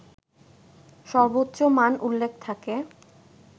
সর্বোচ্চ মান উল্লেখ থাকে